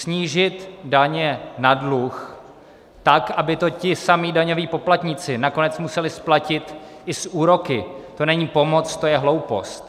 Snížit daně na dluh tak, aby to ti samí daňoví poplatníci nakonec museli splatit i s úroky, to není pomoc, to je hloupost.